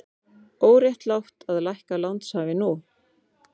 Óréttlátt að lækka lánshæfi nú